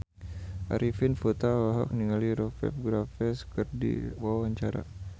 Arifin Putra olohok ningali Rupert Graves keur diwawancara